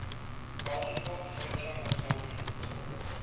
multiple photon absorptions